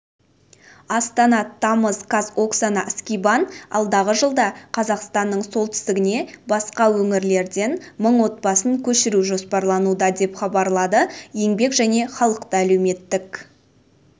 астана тамыз қаз оксана скибан алдағы жылда қазақстанның солтүстігіне басқа өңірлерден мың отбасын көшіру жоспарлануда деп хабарлады еңбек және халықты әлеуметтік